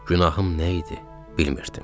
Günahım nə idi, bilmirdim.